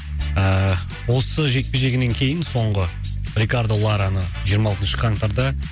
ааа осы жекпе жегінен кейін соңғы рикардо лараны жиырма алтыншы қаңтарда